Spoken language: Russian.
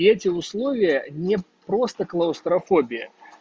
и эти условия не просто клаустрофобия